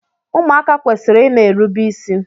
Ụmụaka kwesịrị ịna erubi isi